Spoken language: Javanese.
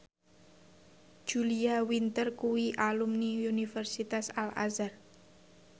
Julia Winter kuwi alumni Universitas Al Azhar